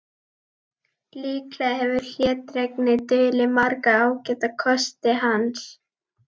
Líklega hefur hlédrægni dulið marga ágæta kosti hans.